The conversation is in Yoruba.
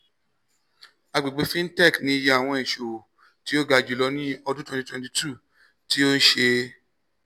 agbegbe fintech ni iye awọn iṣowo ti o ga julọ ni ọdun twenty twenty two ti o ṣe